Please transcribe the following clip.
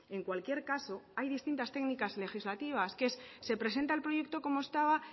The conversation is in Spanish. en cualquier caso hay distintas técnicas legislativas que es se presenta el proyecto como estaba